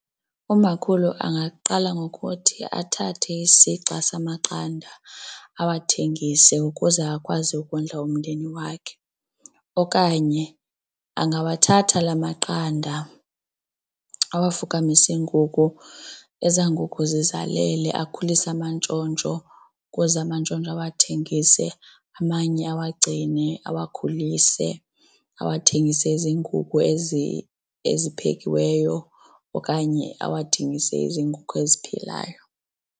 Umakhulu angaqala ngokuthi athathe isixa samaqanda awathengise ukuze akwazi ukondla umndeni wakhe okanye angawathatha la maqanda awafukamise iinkukhu, eza nkukhu zizalela akhulise amantshontsho ukuze amantshontsho awathengise amanye awagcine awakhulise awuthengise eziinkukhu eziphekiweyo okanye awathengise eziinkukhu eziphilayo.